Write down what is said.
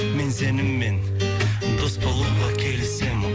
мен сенімен дос болуға келісемін